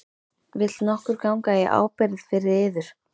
Vill nokkur ganga í ábyrgð fyrir yður?